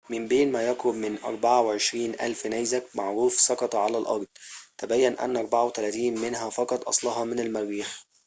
من بين ما يقرب من 24,000 نيزك معروف سقط على الأرض تبين أنّ 34 منها فقط أصلها من المريخ